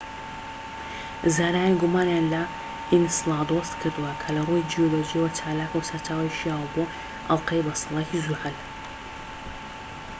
زانایان گومانیان لە ئینسلادۆس کردووە کە لە ڕووی جیۆلۆجییەوە چالاکە و سەرچاوەی شیاوە بۆ ئەڵقەی بەستەڵەکی زوحەل